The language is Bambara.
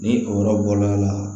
Ni o yɔrɔ bɔla